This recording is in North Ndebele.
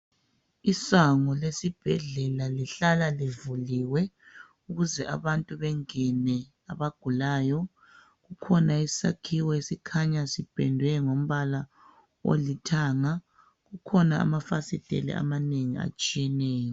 Isango lesibhedlela lihlala livuliwe ukuze abantu bengene abagulayo. Kukhona isakhiwo esikhanya sipendwe ngombala olithanga kukhona amafasitele amanengi atshiyeneyo.